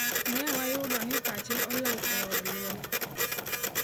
Ne wayudo ni pache olal e od luok.